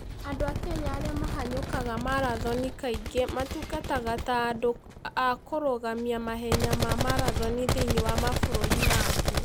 Andũ a Kenya arĩa mahanyũkaga marathoni kaingĩ matungataga ta andũ a kũrũgamia mahenya ma marathoni thĩinĩ wa mabũrũri mangĩ.